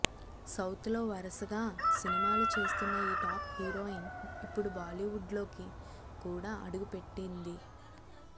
south లో వరసగా సినిమాలు చేస్తున్న ఈ టాప్ హీరోయిన్ ఇప్పుడు బాలీవుడ్లోకి కూడా అడుగుపెటింది